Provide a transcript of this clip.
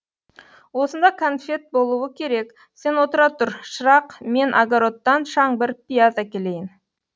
осында конфет болуы керек сен отыра тұр шырақ мен огородтан шаңбыр пияз әкелейін